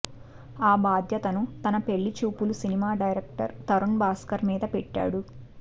ఆ బాధ్యతను తన పెళ్లిచూపులు సినిమా డైరక్టర్ తరుణ్ భాస్కర్ మీద పెట్టాడు